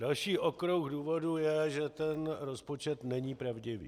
Další okruh důvodů je, že ten rozpočet není pravdivý.